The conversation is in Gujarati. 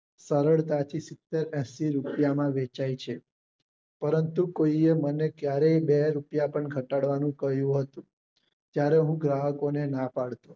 સરળતા થી સીતેર એંશી રૂપિયા માં વેચાઈ છે પરંતુ કોઈ આ મને ક્યારેય બે રૂપિયા પણ ઘટાડવાનું કહ્યું હતું ત્યારે હું ગ્રાહકો ને ના પાડતો